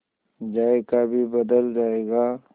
जायका भी बदल जाएगा